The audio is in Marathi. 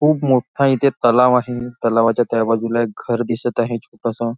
खूप मोठा इथे तलाव आहे तलावाच्या त्या बाजूला एक घर दिसत आहे छोटसं.